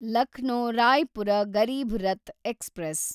Lucknow Raipur Garib Rath express